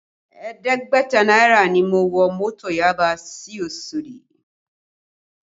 Ẹ̀ẹ́dẹ́gbẹ̀ta náírà ni mo wọ mọ́tò Yaba sí Osodi